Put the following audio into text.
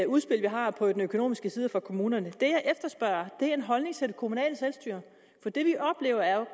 udspil vi har på den økonomiske side for kommunerne det jeg efterspørger er en holdning til det kommunale selvstyre for det vi oplever er